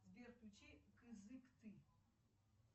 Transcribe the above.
сбер включи кызыкты